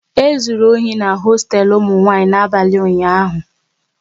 E zụrụ ohi n'hosteelu ụmụ nwanyị n'abalị ụnyaahụ